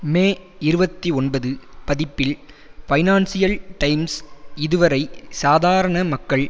மே இருபத்தி ஒன்பது பதிப்பில் பைனான்சியல் டைம்ஸ் இதுவரை சாதாரண மக்கள்